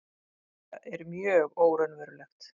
Þetta er mjög óraunverulegt.